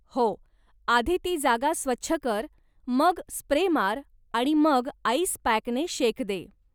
हो, आधीती जागा स्वच्छ कर, मग स्प्रे मार, आणि मग आईस पॅकने शेक दे.